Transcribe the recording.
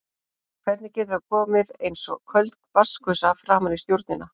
Hvernig getur það komið eins og köld vatnsgusa framan í stjórnina?